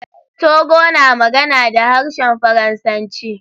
Togo na magana da harshen Faransanci.